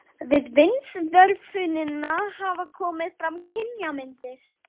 Við vindsvörfunina hafa komið fram kynjamyndir.